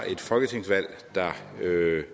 ikke